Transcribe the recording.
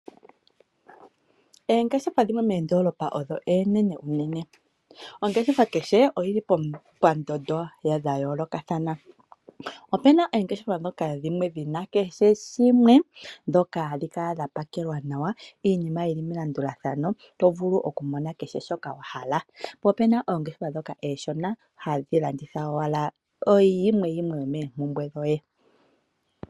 Oongeshefa dhimwe moondolopa odho oonene unene. Ongeshefa kehe odhili pandondo dhayoolokathana. Opena oongeshefa dhoka dhina kehe shimwe dhoka hadhi kala dha pakelwa nawa iinima yili melandulathano. To vulu oku mona kehe shoka wahala. Po opena oongeshefa dhoka ooshona hadhi landitha owala oyimwe yimwe yomoompumbwe dhoye.